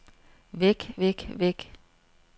væk væk væk